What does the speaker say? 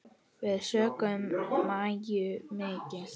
Við söknum Maju mikið.